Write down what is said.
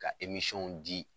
Ka di